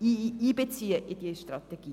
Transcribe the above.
Auch sie gehören in die Gesamtstrategie.